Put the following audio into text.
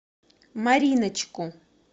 мариночку